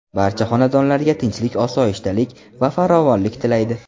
Barcha xonadonlarga tinchlik-osoyishtalik va farovonlik tilaydi.